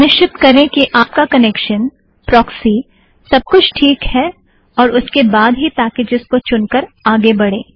सुनिश्चित करें कि आपका कनेक्शन प्रोक्सी सब कुछ टीक है और उसके बाद ही पैकेज़ को चुनकर आगे बढ़ें